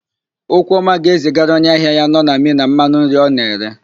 Okwuọma ga-ezigara onye ahịa ya nọ na Mina mmanụ nri ọ na-ere.